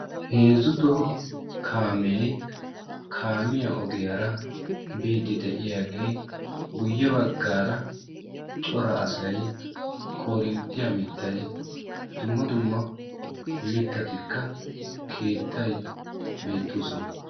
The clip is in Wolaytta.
Heezzu toho kaame kaamiya ogiyaara biddi de'iyaage guyye baggaara xora asay koorinttiyaa mittay dumma dumma mittika keettay beettoosona.